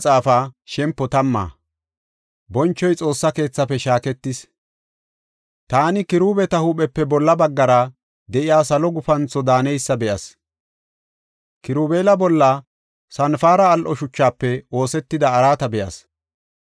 Taani Kiruubeta huuphepe bolla baggara de7iya salo gufantho daaneysa be7as. Kirubeela bolla sanpare al7o shuchafe oosetida araata be7as.